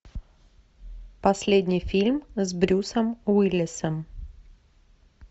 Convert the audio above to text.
последний фильм с брюсом уиллисом